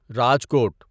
Rajkot